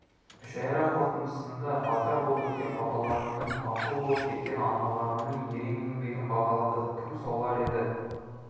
мүшәйра қорытындысында батыр боп өткен бабаларымның бақұл боп кеткен аналарымның ерен еңбегін бағалады кім солар еді